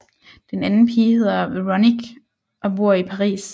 Den anden pige hedder Veronique og bor i Paris